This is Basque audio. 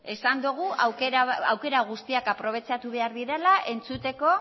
esan dogu aukera guztiak aprobetxatu behar direla entzuteko